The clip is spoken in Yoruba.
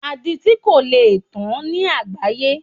Aditi kò lè tán ní àgbááyé